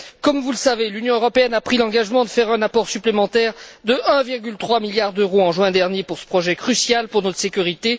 Comme vous le savez, l'Union européenne a pris l'engagement de faire un apport supplémentaire de 1,3 milliard d'euros en juin dernier pour ce projet crucial pour notre sécurité.